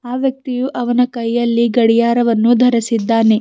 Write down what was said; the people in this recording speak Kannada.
ಆ ವ್ಯಕ್ತಿಯು ಅವನ ಕೈಯಲ್ಲಿ ಗಡಿಯಾರವನ್ನು ಧರಸಿದ್ದಾನೆ.